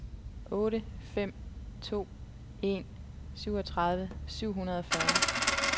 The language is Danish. otte fem to en syvogtredive syv hundrede og fyrre